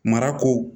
Marako